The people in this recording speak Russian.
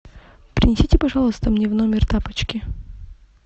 принесите пожалуйста мне в номер тапочки